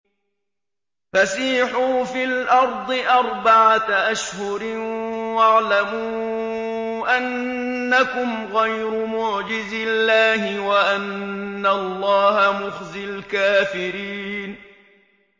فَسِيحُوا فِي الْأَرْضِ أَرْبَعَةَ أَشْهُرٍ وَاعْلَمُوا أَنَّكُمْ غَيْرُ مُعْجِزِي اللَّهِ ۙ وَأَنَّ اللَّهَ مُخْزِي الْكَافِرِينَ